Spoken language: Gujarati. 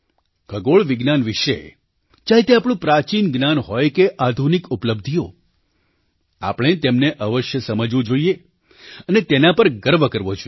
ખગોળવિજ્ઞાન વિશે ચાહે તે આપણું પ્રાચીન જ્ઞાન હોય કે આધુનિક ઉપલબ્ધિઓ આપણે તેમને અવશ્ય સમજવું જોઈએ અને તેના પર ગર્વ કરવો જોઈએ